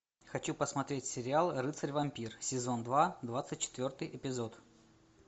хочу посмотреть сериал рыцарь вампир сезон два двадцать четвертый эпизод